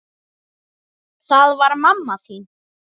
Það var mamma þín.